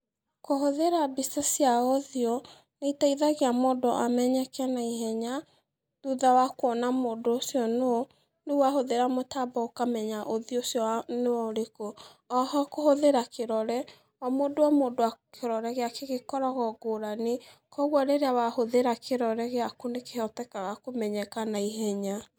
Kũhũthĩra mbica cia ũthiũ, nĩiteithagia mũndũ amenyeke naihenya, thutha wa kuona mũndũ ũcio nũ, rĩu wahũthĩra mũtambo ũkamenya ũthiũ ũcio nĩwa nĩũrĩkũ, oho kũhũthĩra kĩrore, o mũndũ o mũndũ kĩrore gĩake gĩkoragwo ngũrani, koguo rĩrĩa wahũthĩra kĩrore gĩaku nĩkĩhotekaga kũmenyeka naihenya.